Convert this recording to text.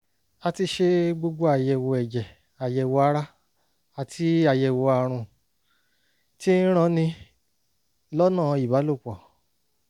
a ti ṣe gbogbo àyẹ̀wò ẹ̀jẹ̀ àyẹ̀wò ara àti àyẹ̀wò àrùn tí ń ranni lọ́nà ìbálòpọ̀